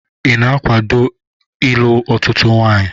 Ị na-akwaado ịlụ ọtụtụ nwanyị?